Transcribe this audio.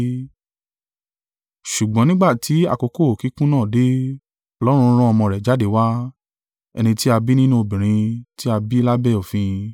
Ṣùgbọ́n nígbà tí àkókò kíkún náà dé, Ọlọ́run rán ọmọ rẹ̀ jáde wá, ẹni tí a bí nínú obìnrin tí a bí lábẹ́ òfin.